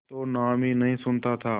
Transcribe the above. तो नाम ही नहीं सुना था